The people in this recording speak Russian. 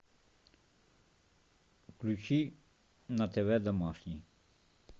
включи на тв домашний